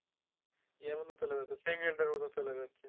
সেকেন্ডের মতো চলে যাচ্ছে